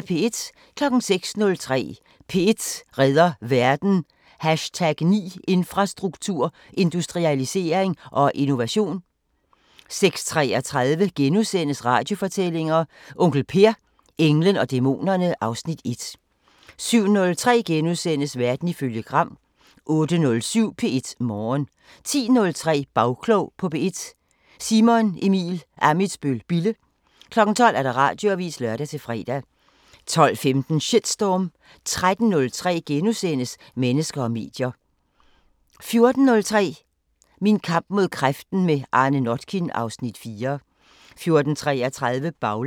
06:03: P1 redder verden: #9 Infrastruktur, industrialisering og innovation 06:33: Radiofortællinger: Onkel Per – englen og dæmonerne (Afs. 1)* 07:03: Verden ifølge Gram * 08:07: P1 Morgen 10:03: Bagklog på P1: Simon Emil Ammitzbøl-Bille 12:00: Radioavisen (lør-fre) 12:15: Shitstorm 13:03: Mennesker og medier * 14:03: Min kamp mod kræften – med Arne Notkin (Afs. 4) 14:33: Baglandet